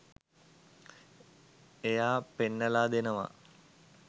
එයා පෙන්නලා දෙනවා